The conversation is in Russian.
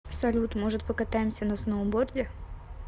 салют может покатаемся на сноуборде